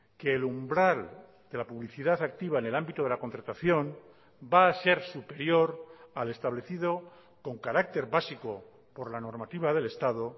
que el umbral de la publicidad activa en el ámbito de la contratación va a ser superior al establecido con carácter básico por la normativa del estado